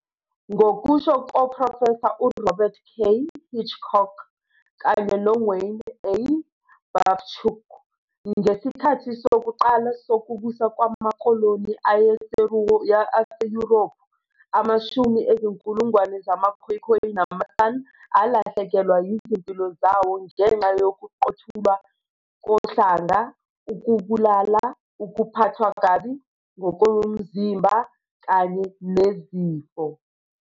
Ngokusho koprofesa uRobert K. Hitchcock kanye noWayne A. Babchuk, "Ngesikhathi sokuqala sokubusa kwamakoloni aseYurophu, amashumi ezinkulungwane zamaKhoekhoe namaSan alahlekelwa izimpilo zawo ngenxa yokuqothulwa kohlanga, ukubulala, ukuphathwa kabi ngokomzimba, kanye nezifo.